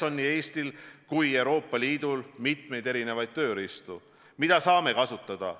Nii Eestil kui Euroopa Liidul on mitmeid tööriistu, mida saame kasutada.